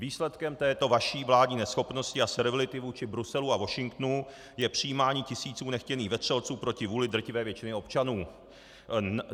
Výsledkem této vaší vládní neschopnosti a servility vůči Bruselu a Washingtonu je příjímání tisíců nechtěných vetřelců proti vůli drtivé většiny občanů.